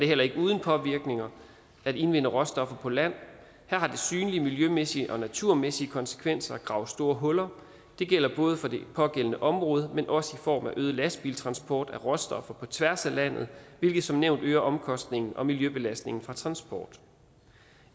heller ikke uden påvirkninger at indvinde råstoffer på land her har det synlige miljømæssige og naturmæssige konsekvenser at grave store huller det gælder både for det pågældende område men også i form af øget lastbiltransport af råstoffer på tværs af landet hvilket som nævnt øger omkostningen og miljøbelastningen fra transport